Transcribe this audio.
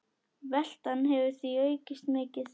Veltan hefur því aukist mikið.